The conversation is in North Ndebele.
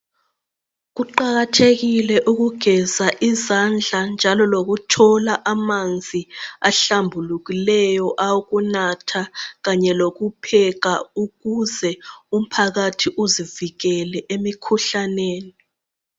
Kuqakathekile ukugeza izandla njalo lokuthola amanzi ahlambulukileyo awokunatha kanye lokupheka ukuze umphakathi uzivikele emikhuhlaneni.